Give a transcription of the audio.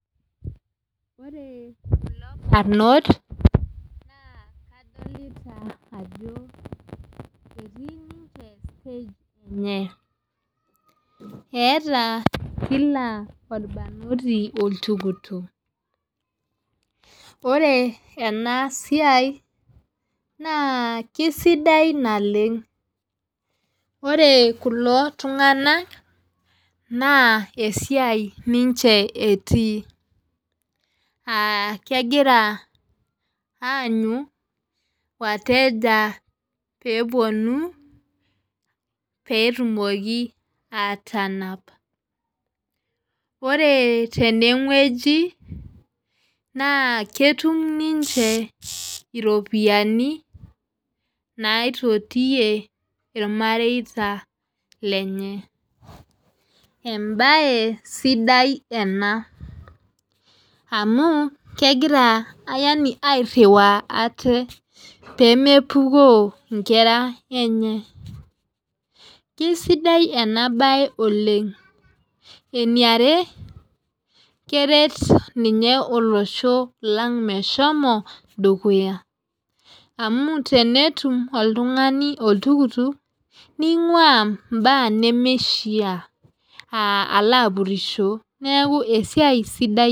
Ore kulo barnot naa kadolita ajo etii ninche stage enche eeta kila orbanoti oltukutuk ore ena siai naa kisidai naleng ore kulo tunganak naa esiai ninche etii ah kegira aanyu wateja pee eponu pee etumoki atanap ore tene wueji naa ketum ninche iropiyani naitotie irmareita lenye ebae sidai ena amu kegira yaani airua ate pee mepukoo igera enye kisidai ena bae oleng eniare keret ninye olosho lang meshomo dukuya amu tenetum oltungani oltukutuk ningua imbaa nimishia ah Alo apurisho neaku esiai sidai.